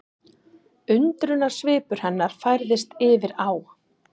Undrunarsvipur hennar færðist yfir á